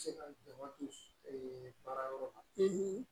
Se ka dɔgɔn don baara yɔrɔ la